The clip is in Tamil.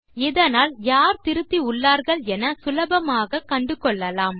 இதனால் யார் திருத்தி உள்ளார்கள் என சுலபமாக கண்டுகொள்ளலாம்